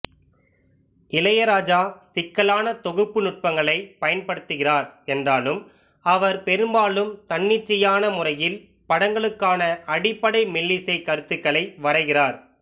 இளையராஜா சிக்கலான தொகுப்பு நுட்பங்களைப் பயன்படுத்துகிறார் என்றாலும் அவர் பெரும்பாலும் தன்னிச்சையான முறையில் படங்களுக்கான அடிப்படை மெல்லிசைக் கருத்துக்களை வரைகிறார்